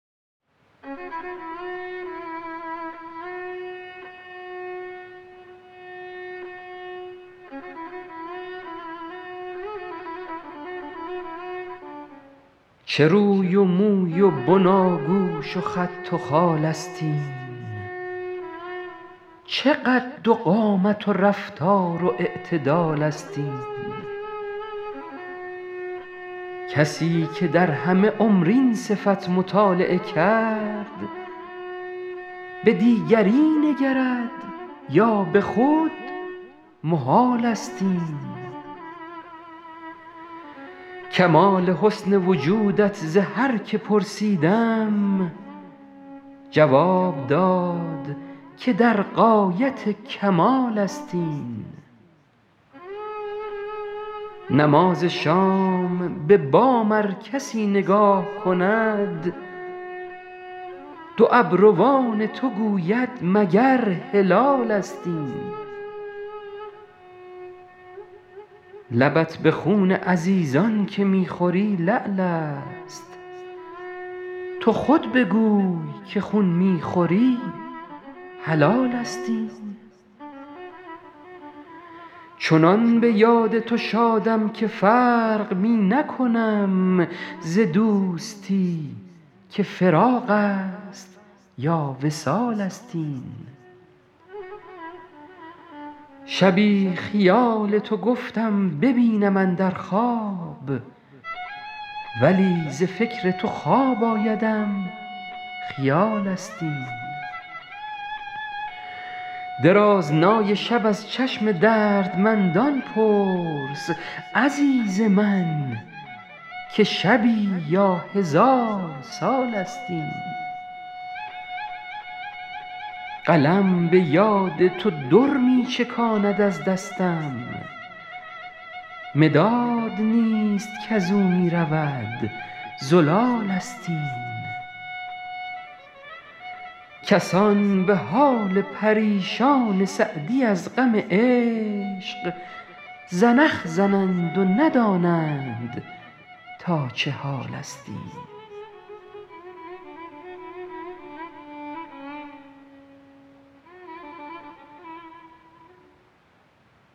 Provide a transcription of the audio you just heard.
چه روی و موی و بناگوش و خط و خال است این چه قد و قامت و رفتار و اعتدال است این کسی که در همه عمر این صفت مطالعه کرد به دیگری نگرد یا به خود محال است این کمال حسن وجودت ز هر که پرسیدم جواب داد که در غایت کمال است این نماز شام به بام ار کسی نگاه کند دو ابروان تو گوید مگر هلالست این لبت به خون عزیزان که می خوری لعل است تو خود بگوی که خون می خوری حلال است این چنان به یاد تو شادم که فرق می نکنم ز دوستی که فراق است یا وصال است این شبی خیال تو گفتم ببینم اندر خواب ولی ز فکر تو خواب آیدم خیال است این درازنای شب از چشم دردمندان پرس عزیز من که شبی یا هزار سال است این قلم به یاد تو در می چکاند از دستم مداد نیست کز او می رود زلال است این کسان به حال پریشان سعدی از غم عشق زنخ زنند و ندانند تا چه حال است این